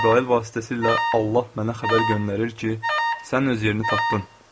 Cəbrayıl vasitəsilə Allah mənə xəbər göndərir ki, sən öz yerini tapdın.